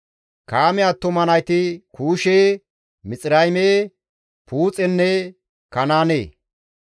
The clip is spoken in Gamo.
Kaame attuma nayti Kuushe, Mixirayme, Puuxenne Kanaane.